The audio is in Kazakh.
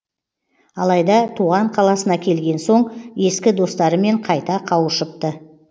алайда туған қаласына келген соң ескі достарымен қайта қауышыпты